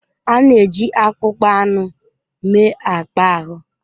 A na-eji akpụkpọ anụ mee akpa ahụ.